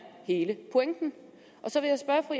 hele pointen så vil